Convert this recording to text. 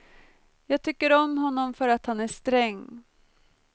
Jag tycker om honom för att han är sträng.